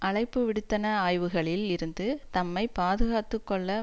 அழைப்பு விடுத்தன ஆய்வுகளில் இருந்து தம்மை பாதுகாத்து கொள்ள